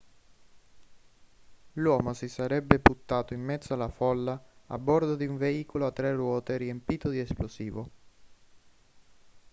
l'uomo si sarebbe buttato in mezzo alla folla a bordo di un veicolo a tre ruote riempito di esplosivo